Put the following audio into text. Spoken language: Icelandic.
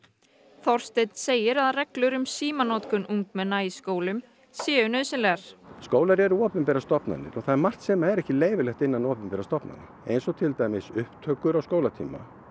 þorsteinnn segir að reglur um símanotkun ungmenna í skólum séu nauðsynlegar skólar eru opinberar stofnanir og það er margt sem er ekki leyfilegt innan opinberra stofnanna eins og til dæmis upptökur á skólatíma